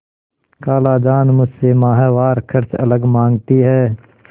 खालाजान मुझसे माहवार खर्च अलग माँगती हैं